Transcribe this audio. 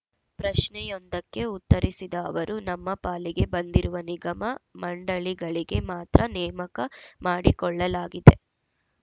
ಪ್ರಶ್ನೆಯೊಂದಕ್ಕೆ ಉತ್ತರಿಸಿದ ಅವರು ನಮ್ಮ ಪಾಲಿಗೆ ಬಂದಿರುವ ನಿಗಮ ಮಂಡಳಿಗಳಿಗೆ ಮಾತ್ರ ನೇಮಕ ಮಾಡಿಕೊಳ್ಳಲಾಗಿದೆ